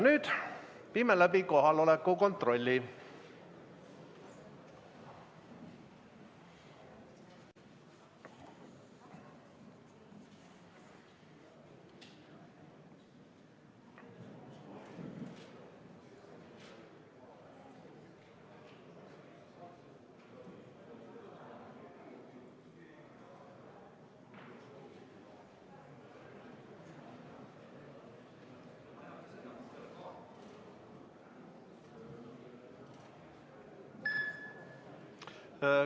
Nüüd viime läbi kohaloleku kontrolli.